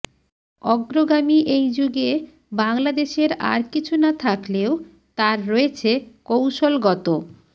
অগ্রগামী এই যুগে বাংলাদেশের আর কিছু না থাকলেও তার রয়েছে কৌশলগত